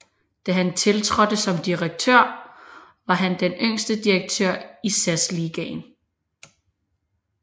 Da han tiltrådte som direktør var han den yngste direktør i SAS Ligaen